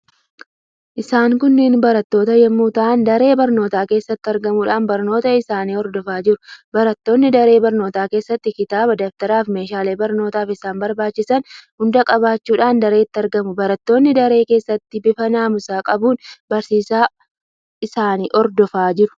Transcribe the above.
Isaan kunniin barattoota yemmuu ta'an daree barnootaa keessatti argamuudhaan barnoota isaanii hordofaa jiru. Barattoonni daree barnootaa keessatti kitaabaa, daftaraa fi meeshaalee barnootaaf isaan barbaachisan hunda qabachuudhaan dareetti argamuu. Barattoonni daree keessatti bifa naamusa qabuun barsiisa isaanii hordofu.